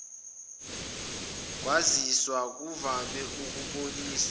kwaziswa kuvame ukuboniswa